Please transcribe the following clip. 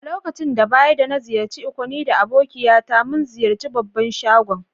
Lokaci da baya da na ziyace Ikko ni da abokiya ta mun ziyace babban shagon.